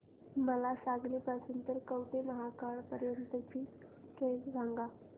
मला सांगली पासून तर कवठेमहांकाळ पर्यंत ची ट्रेन सांगा